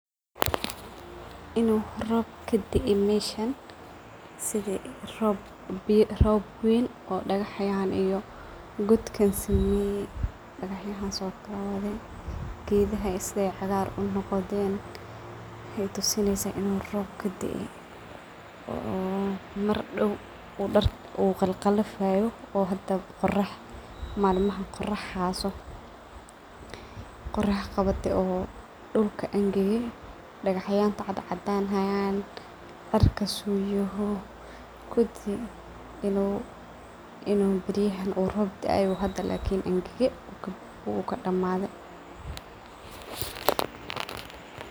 Inu roob kadee meesha sida roob ween oo dagaxyan iyo godkas sameye oo dagaxyada soqaad, gedaha sida ey cagar unqoden wexey tusineysa in ey roob daay oo mardow dirtu ey qalifeyso oo qorax qawate oo dullka angage dagaxda cadani hayan cirka sidu yahay kudii inu beyahan rob daay oo hada kadamade oo angage.